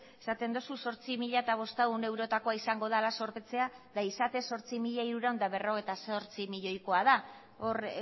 esaten duzu zortzi mila bostehun eurotakoa izango dela zorpetzea eta izatez zortzi mila hirurehun eta berrogeita zortzi milioikoa da hor